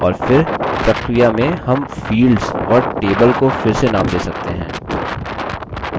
और फिर प्रक्रिया में हम fields और table को फिर से name दे सकते हैं